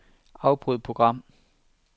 Afbryd program.